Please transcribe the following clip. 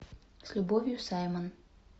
с любовью саймон